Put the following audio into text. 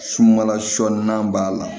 Sunbala sɔ n'an b'a la